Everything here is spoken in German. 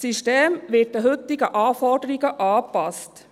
Das System wird an die heutigen Anforderungen angepasst.